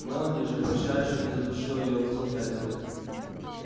мелани же прощаясь чуть не задушила её в объятиях